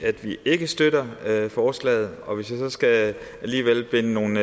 at vi ikke støtter forslaget og hvis jeg skal sætte nogle